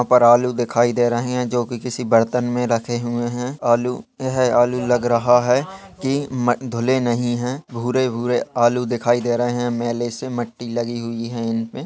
यहां पर आलू दिखाई दे रहे हैं जो कि किसी बर्तन में रखे हुए हैं आलू। यह आलू लग रहा है कि म धुले नहीं हैं। भूरे भूरे आलू दिखाई दे रहे हैं। मैले से मट्टी हुई है इनमें।